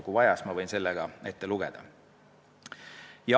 Kui vaja, siis ma võin selle ette lugeda.